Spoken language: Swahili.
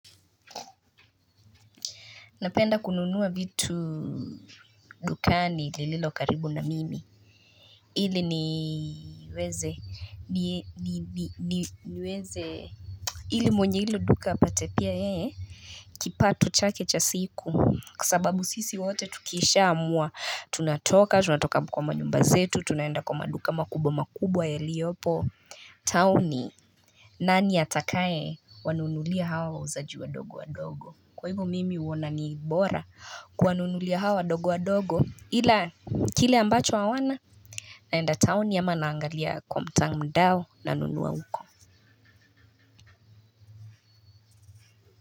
Napenda kununua vitu dukani lililo karibu na mimi ili niweze niweze ili mwenye hilo duka apate pia yeye kipato chake cha siku kwasababu sisi wote tukiisha amua tunatoka tunatoka kwa manyumba zetu tunaenda kwa maduka makubwa makubwa yaliopo tauni nani atakae wanuunulia hawa wauzaji wadogo wadogo kwa hivyo mimi huona ni bora kuwanunulia hawa wadogo wadogo Ila kile ambacho hawana naenda taoni ama naangalia kwa mtandao na nunua uko.